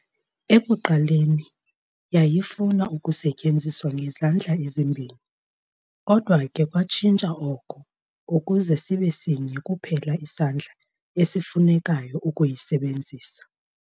Ekuqaleni, yayifuna ukusetyenziswa ngezandla ezimbini, kodwa ke kwatshintsha oko ukuze sibe sinye kuphela isandla esifunekayo ukuyisebenzisa.